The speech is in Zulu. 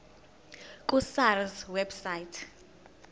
ku sars website